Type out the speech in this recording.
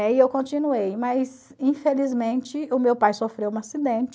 E aí eu continuei, mas infelizmente o meu pai sofreu um acidente.